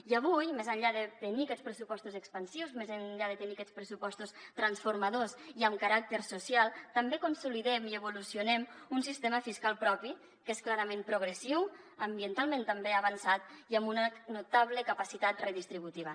i avui més enllà de tenir aquests pressupostos expansius més enllà de tenir aquests pressupostos transformadors i amb caràcter social també consolidem i evolucionem un sistema fiscal propi que és clarament progressiu ambientalment també avançat i amb una notable capacitat redistributiva